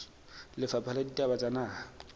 lefapha la ditaba tsa naha